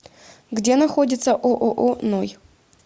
где находится ооо ной